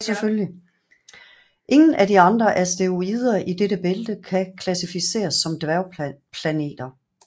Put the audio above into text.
Ingen af de andre asteroider i dette bælte kan klassificeres som dværgplaneter